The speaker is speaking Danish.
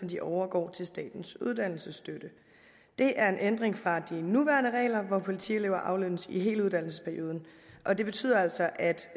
de overgår til statens uddannelsesstøtte det er en ændring fra de nuværende regler hvor politielever aflønnes i hele uddannelsesperioden og det betyder altså at